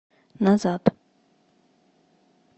назад